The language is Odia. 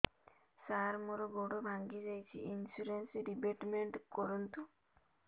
ସାର ମୋର ଗୋଡ ଭାଙ୍ଗି ଯାଇଛି ଇନ୍ସୁରେନ୍ସ ରିବେଟମେଣ୍ଟ କରୁନ୍ତୁ